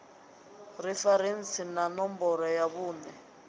referentsi na ṋomboro ya vhuṋe